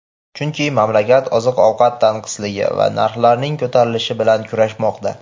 chunki mamlakat oziq-ovqat tanqisligi va narxlarning ko‘tarilishi bilan kurashmoqda.